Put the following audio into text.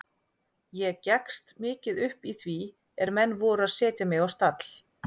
Ég gekkst mikið upp í því er menn voru að setja mig á stall.